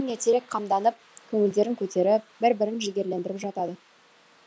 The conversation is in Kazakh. ертерек қамданып көңілдерін көтеріп бір бірін жігерлендіріп жатады